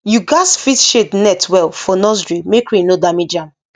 you gats fix shade net well for nursery make rain no damage am